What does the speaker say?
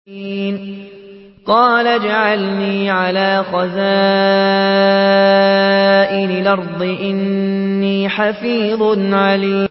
قَالَ اجْعَلْنِي عَلَىٰ خَزَائِنِ الْأَرْضِ ۖ إِنِّي حَفِيظٌ عَلِيمٌ